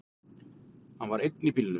Hann var einn í bílnum.